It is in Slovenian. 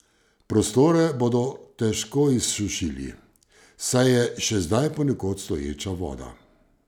Prostore bodo težko izsušili, saj je še zdaj ponekod stoječa voda.